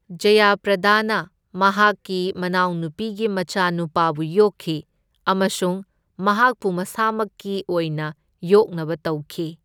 ꯖꯌꯥ ꯄ꯭ꯔꯗꯥꯅ ꯃꯍꯥꯛꯀꯤ ꯃꯅꯥꯎꯅꯨꯄꯤꯒꯤ ꯃꯆꯥꯅꯨꯄꯥꯕꯨ ꯌꯣꯛꯈꯤ ꯑꯃꯁꯨꯡ ꯃꯍꯥꯛꯄꯨ ꯃꯁꯥꯃꯛꯀꯤ ꯑꯣꯏꯅ ꯌꯣꯛꯅꯕ ꯇꯧꯈꯤ꯫